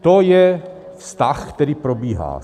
To je stav, který probíhá.